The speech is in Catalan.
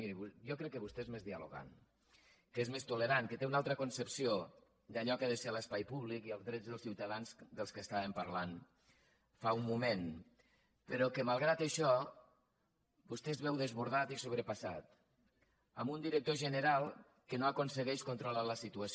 miri jo crec que vostè és més dialogant que és més tolerant que té una altra concepció d’allò que ha de ser l’espai públic i els drets dels ciutadans dels quals parlàvem fa un moment però que malgrat això vostè es veu desbordat i sobrepassat amb un director general que no aconsegueix controlar la situació